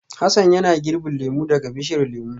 Hassan yana girbin lemu daga bishiyar lemu